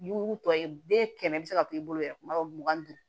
Mugu tɔ ye be kɛmɛ bi se ka to i bolo yɛrɛ kuma dɔw mugan ni duuru